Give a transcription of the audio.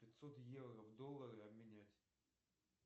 пятьсот евро в доллары обменять